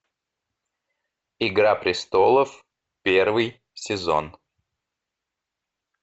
игра престолов первый сезон